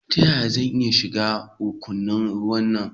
Ta yaya zan iya shiga rukunin rawanku?